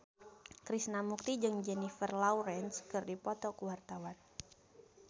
Krishna Mukti jeung Jennifer Lawrence keur dipoto ku wartawan